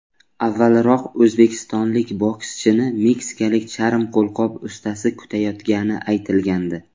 Avvalroq o‘zbekistonlik bokschini meksikalik charm qo‘lqop ustasi kutayotgani aytilgandi.